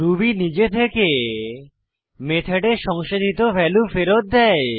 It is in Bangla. রুবি নিজে থেকে মেথডে সংসাধিত ভ্যালু ফেরত দেয়